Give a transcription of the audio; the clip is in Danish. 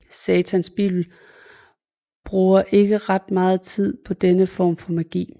Satans Bibel bruger ikke ret meget tid på denne form for magi